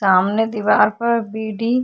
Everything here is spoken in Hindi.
सामने दिवार पर बी.डी. --